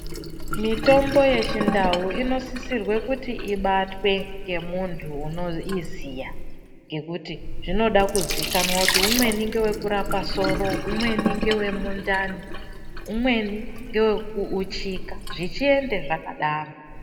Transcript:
Mitombo yechindau inosisirwe kuti ibatwe ngemuntu unoiziya ngekuti zvinoda kuzikanwa kuti umweni ngewekurapa soro, umweni ngewemundani, umweni ngewekuuchika zvichiende zvakadaro.